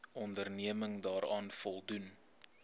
onderneming daaraan voldoen